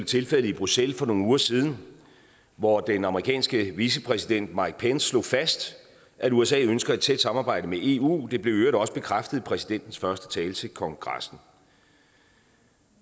tilfældet i bruxelles for nogle uger siden hvor den amerikanske vicepræsident mike pence slog fast at usa ønsker et tæt samarbejde med eu det blev i øvrigt også bekræftet i præsidentens første tale til kongressen